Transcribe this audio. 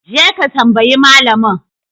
Je ka tambayi malamin!